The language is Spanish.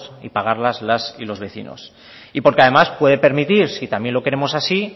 y pagarlas las y los vecinos y porque además puede permitir si también lo queremos así